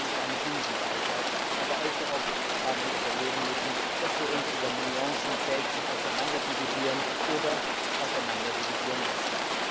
Eigentlich eine Binsenweisheit, aber allzu oft haben wir es erleben müssen, dass wir uns über Nuancen selbst auseinanderdividieren oder auseinanderdividieren lassen.